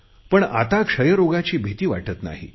पण आता क्षयरोगाची भिती वाटत नाही